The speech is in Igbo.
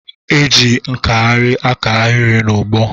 E je nkahịrị aka ahịrị n'ụgbọ.